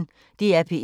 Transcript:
DR P1